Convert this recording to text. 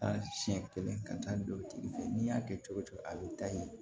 A siɲɛ kelen ka taa don tigi fɛ n'i y'a kɛ cogo o cogo a bɛ taa ye